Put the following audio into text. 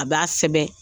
A b'a sɛbɛn